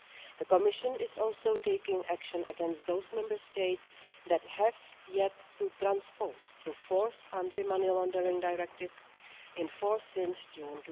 The Commission is also taking action against those Member States that have yet to transpose the Fourth Anti Money Laundering Directive, in force since June